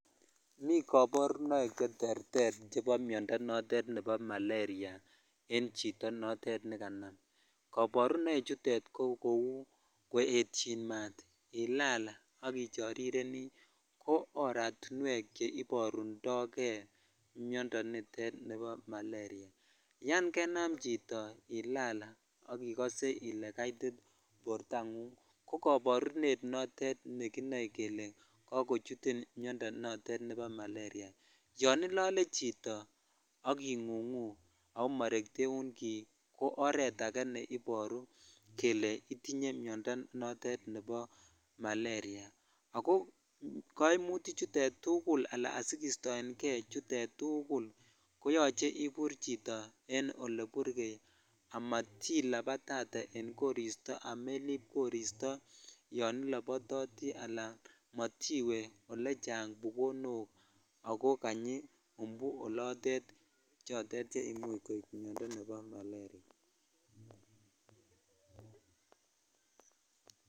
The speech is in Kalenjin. Mii koborunoik cheterter chebo miondo notet nebo malaria en chito notet nekanam, koborunoi chutet ko kouu koetyin maat, ilaal ak ichorireni ko oratinwek cheiborundoke miondo nitet nibo malaria, yoon kenam chito ilaal ak ikose ilee kaiti bortangung ko koborunet notet nekinoe kelee kokochutin miondo notet nebo malaria, yoon ilolee chito ak ingungu oo morekteun kii ko oreet akee neiboru kelee itinye miondo notet nebo malaria, ako koimuti chutet tukul alaan asikistoenge chutet tukul koyoche ibur chito en eleburkei amatilabatate en koristo amelib koristo yoon ilobototi alaan motiwe olechang bukonok ak ko kanyi umbu olotet chotet cheimuch koib miondo nebo malaria.